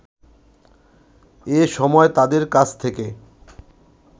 এ সময় তাদের কাছ থেকে